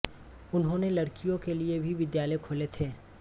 उन्होंने लड़कियों के लिए भी विद्यालय खोले थे